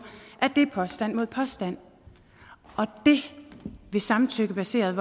det er påstand mod påstand og det vil samtykkebaseret